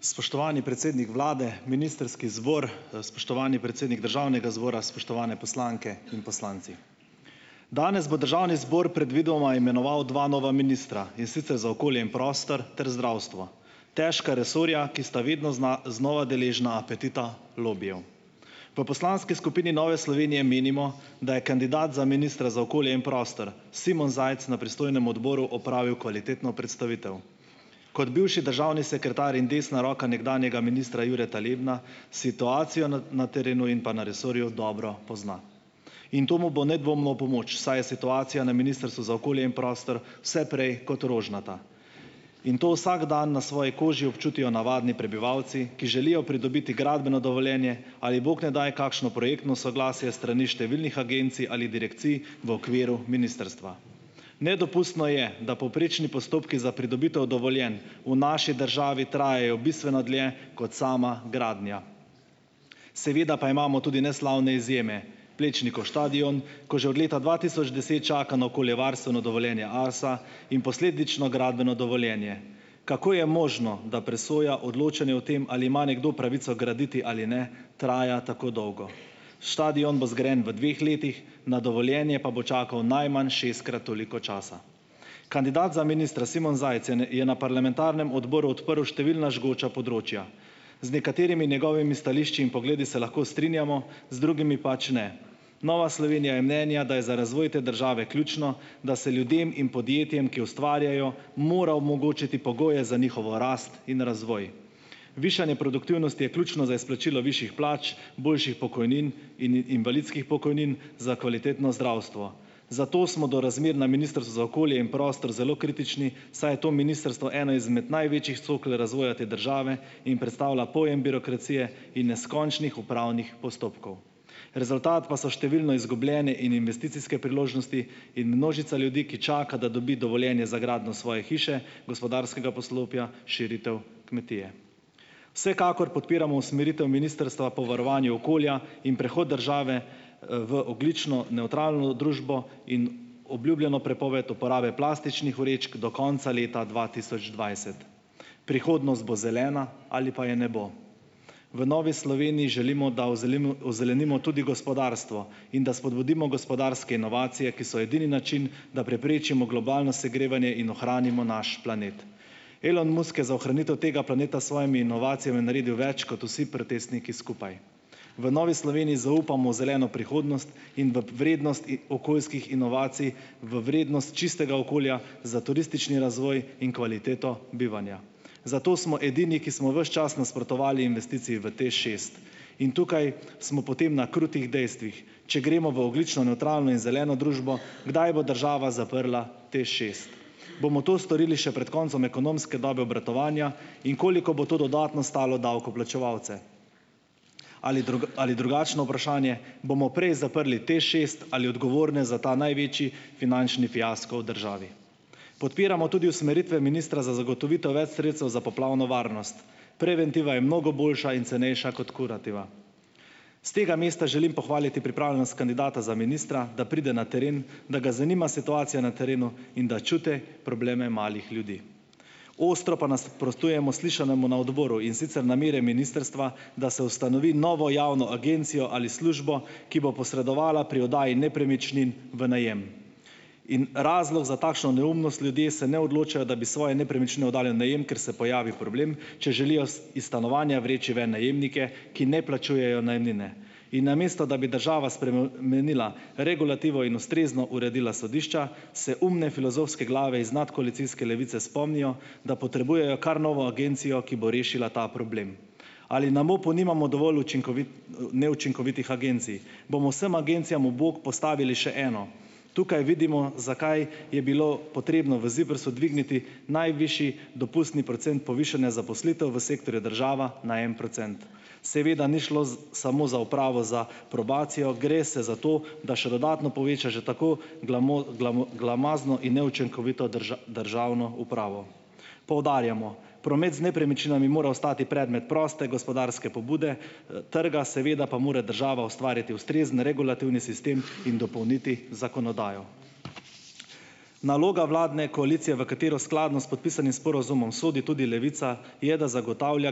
Spoštovani predsednik vlade, ministrski zbor, spoštovani predsednik državnega zbora, spoštovane poslanke in poslanci! Danes bo državni zbor predvidoma imenoval dva nova ministra, in sicer za okolje in prostor ter zdravstvo. Težka resorja, ki sta vidno znova deležna apetita lobijev. V poslanski skupini Nove Slovenije menimo, da je kandidat za ministra za okolje in prostor Simon Zajc na pristojnem odboru opravil kvalitetno predstavitev. Kot bivši državni sekretar in desna roka nekdanjega ministra Jureta Lebna situacijo na terenu in pa na resorju dobro pozna. In to mu bo nedvomno v pomoč, saj je situacija na Ministrstvu za okolje in prostor vse prej kot rožnata in to vsak dan na svoji koži občutijo navadni prebivalci, ki želijo pridobiti gradbeno dovoljenje ali bog ne daj kakšno projektno soglasje s strani številnih agencij ali direkcij v okviru ministrstva. Nedopustno je, da povprečni postopki za pridobitev dovoljenj v naši državi trajajo bistveno dlje kot sama gradnja. Seveda pa imamo tudi neslavne izjeme: Plečnikov stadion, ko že od leta dva tisoč deset čaka na okoljevarstveno dovoljenje ARSA in posledično gradbeno dovoljenje. Kako je možno, da presoja odločanje o tem, ali ima nekdo pravico graditi ali ne traja tako dolgo? Stadion bo zgrajen v dveh letih, na dovoljenje pa bo čakal najmanj šestkrat toliko časa. Kandidat za ministra Simon Zajc je je na parlamentarnem odboru odprl številna žgoča področja. Z nekaterimi njegovimi stališči in pogledi se lahko strinjamo, z drugimi pač ne. Nova Slovenija je mnenja, da je za razvoj te države ključno, da se ljudem in podjetjem, ki ustvarjajo, mora omogočiti pogoje za njihovo rast in razvoj. Višanje produktivnosti je ključno za izplačilo višjih plač, boljših pokojnin in invalidskih pokojnin za kvalitetno zdravstvo. Zato smo do razmer na Ministrstvu za okolje in prostor zelo kritični, saj je to ministrstvo eno izmed največjih cokel razvoja te države in predstavlja pojem birokracije in neskončnih upravnih postopkov. Rezultat pa so številno izgubljene in investicijske priložnosti in množica ljudi, ki čaka, da dobi dovoljenje za gradnjo svoje hiše, gospodarskega poslopja, širitev kmetije. Vsekakor podpiramo usmeritev ministrstva po varovanju okolja in prehod države, v ogljično nevtralno družbo in obljubljeno prepoved uporabe plastičnih vrečk do konca leta dva tisoč dvajset. Prihodnost bo zelena ali pa je ne bo. V Novi Sloveniji želimo, da ozelenimo tudi gospodarstvo in da spodbudimo gospodarske inovacije, ki so edini način, da preprečimo globalno segrevanje in ohranimo naš planet. Elon Musk je za ohranitev tega planeta s svojimi inovacijami naredil več kot vsi protestniki skupaj. V Novi Sloveniji zaupamo v zeleno prihodnost in v vrednost okoljskih inovacij, v vrednost čistega okolja za turistični razvoj in kvaliteto bivanja. Zato smo edini, ki smo ves čas nasprotovali investiciji v TEŠ šest. In tukaj smo potem na krutih dejstvih: če gremo v ogljično nevtralno in zeleno družbo, kdaj bo država zaprla TEŠ šest? Bomo to storili še pred koncem ekonomske dobe obratovanja in koliko bo to dodatno stalo davkoplačevalce? Ali ali drugačno vprašanje: bomo prej zaprli TEŠ šest ali odgovorne za ta največji finančni fiasko v državi? Podpiramo tudi usmeritve ministra za zagotovitev več sredstev za poplavno varnost. Preventiva je mnogo boljša in cenejša kot kurativa. S tega mesta želim pohvaliti pripravljenost kandidata za ministra, da pride na teren, da ga zanima situacija na terenu in da čuti probleme malih ljudi. Ostro pa nasprotujemo slišanemu na odboru, in sicer namere ministrstva, da se ustanovi novo javno agencijo ali službo, ki bo posredovala pri oddaji nepremičnin v najem. In razlog za takšno neumnost: ljudje se ne odločajo, da bi svoje nepremičnine oddali v najem, ker se pojavi problem, če želijo iz stanovanja vreči ven najemnike, ki ne plačujejo najemnine. In namesto da bi država spremenila regulativo in ustrezno uredila sodišča, se umne filozofske glave iz nadkoalicijske Levice spomnijo, da potrebujejo kar novo agencijo, ki bo rešila ta problem. Ali na MOP-u nimamo dovolj neučinkovitih agencij? Bomo vsem agencijam v bok postavili še eno? Tukaj vidimo, zakaj je bilo potrebno v ZIPRS-u dvigniti najvišji dopustni procent povišanja zaposlitev v sektorju država na en procent. Seveda ni šlo samo za upravo, za probacijo, gre se za to, da še dodatno poveča že tako glomazno in neučinkovito državno upravo. Poudarjamo, promet z nepremičninami mora ostati predmet proste gospodarske pobude, trga, seveda pa mora država ustvariti ustrezen regulativni sistem in dopolniti zakonodajo. Naloga vladne koalicije, v katero skladno s podpisanim sporazumom sodi tudi Levica, je, da zagotavlja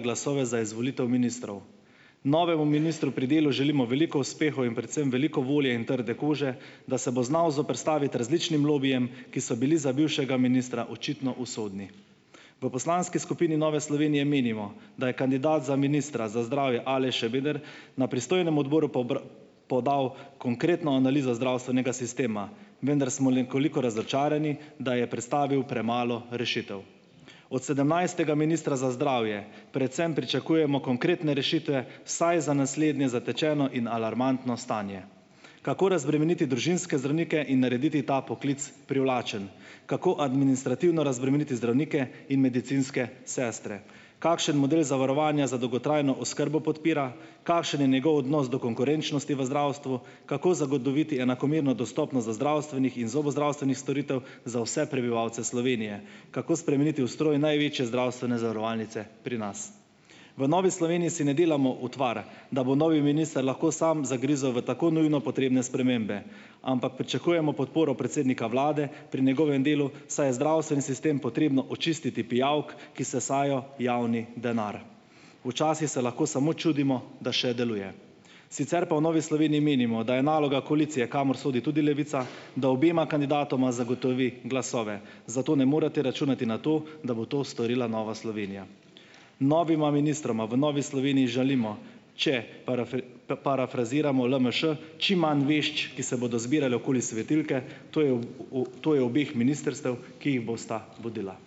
glasove za izvolitev ministrov. Novemu ministru pri delu želimo veliko uspehov in predvsem veliko volje in trde kože, da se bo znal zoperstaviti različnim lobijem, ki so bili za bivšega ministra očitno usodni. V poslanski skupini Nove Slovenije menimo, da je kandidat za ministra za zdravje Aleš Šebeder na pristojnem odboru podal konkretno analizo zdravstvenega sistema, vendar smo nekoliko razočarani, da je predstavil premalo rešitev. Od sedemnajstega ministra za zdravje predvsem pričakujemo konkretne rešitve vsaj za naslednje zatečeno in alarmantno stanje: kako razbremeniti družinske zdravnike in narediti ta poklic privlačen; kako administrativno razbremeniti zdravnike in medicinske sestre; kakšen model zavarovanja za dolgotrajno oskrbo podpira; kakšen je njegov odnos do konkurenčnosti v zdravstvu; kako zagotoviti enakomerno dostopnost do zdravstvenih in zobozdravstvenih storitev za vse prebivalce Slovenije; kako spremeniti ustroj največje zdravstvene zavarovalnice pri nas. V Novi Sloveniji si ne delamo utvar, da bo novi minister lahko sam zagrizel v tako nujno potrebne spremembe, ampak pričakujemo podporo predsednika vlade pri njegovem delu, saj je zdravstveni sistem potrebno očistiti pijavk, ki sesajo javni denar; včasih se lahko samo čudimo, da še deluje. Sicer pa v Novi Sloveniji menimo, da je naloga koalicije, kamor sodi tudi Levica, da obema kandidatoma zagotovi glasove, zato ne morete računati na to, da bo to storila Nova Slovenija. Novima ministroma v Novi Sloveniji želimo, če parafraziramo LMŠ, čim manj vešč, ki se bodo zbirale okoli svetilke, to je to je obeh ministrstev, ki jih bosta vodila.